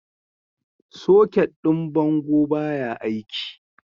Socket ɗin bango baya aiki.